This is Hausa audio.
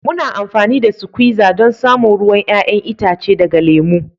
Muna amfani da suquiza don samun ruwan 'ya'yan itace daga lemu.